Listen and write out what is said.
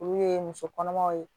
Olu ye muso kɔnɔmaw ye